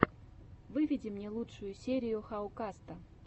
выведи мне лучшую серию хау каста